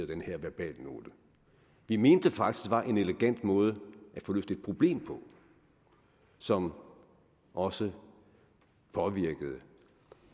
den her verbalnote vi mente faktisk var en elegant måde at få løst et problem på som også påvirkede